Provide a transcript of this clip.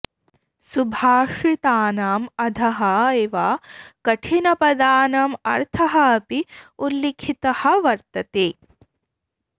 सुभाषितानाम् अधः एव कठिनपदानाम् अर्थः अपि उल्लिखितः वर्तते